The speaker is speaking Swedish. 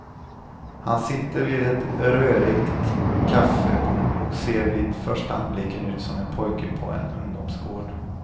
Han sitter vid ett rörigt kaffebord och ser vid första anblicken ut som en pojke på en ungdomsgård.